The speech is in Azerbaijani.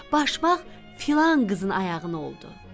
Başmaq filan qızın ayağına oldu.